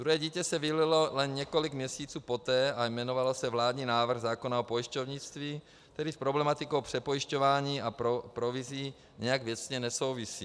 Druhé dítě se vylilo jen několik měsíců poté a jmenovalo se vládní návrh zákona o pojišťovnictví, který s problematikou přepojišťování a provizí nijak věcně nesouvisí.